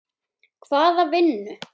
Hvaða vinnu?